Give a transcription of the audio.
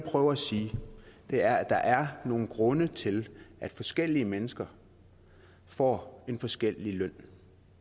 prøver at sige er at der er nogle grunde til at forskellige mennesker får forskellig løn